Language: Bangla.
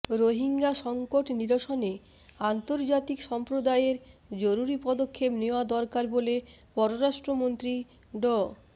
রোহিঙ্গা সংকট নিরসনে আন্তর্জাতিক সম্প্রদায়ের জরুরি পদক্ষেপ নেওয়া দরকার বলে পররাষ্ট্রমন্ত্রী ড